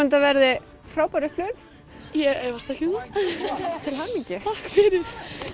þetta verði frábær upplifun ég efast ekki um það til hamingju takk fyrir